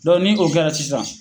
Dɔn ni o kɛra sisan